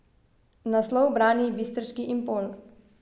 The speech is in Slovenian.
Naslov brani bistriški Impol.